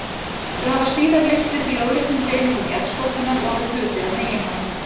Þau hafa síðar lyfst upp í lóðréttum hreyfingum jarðskorpunnar og orðið hluti af meginlandi.